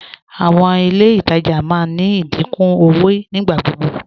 Àwọn ilẹ̀ ìtajà máa ní ìdíkún owó nígbàgbọgbọ